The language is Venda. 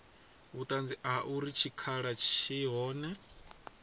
vhuṱanzi ha uri tshikhala tshi hone